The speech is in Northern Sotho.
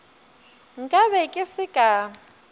nka be ke se ka